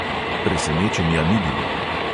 Presenečenja ni bilo.